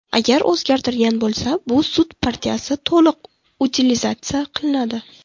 Agar o‘zgartirgan bo‘lsa, bu sut partiyasi to‘liq utilizatsiya qilinadi.